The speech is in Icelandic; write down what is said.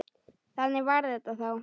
Þannig var þetta þá.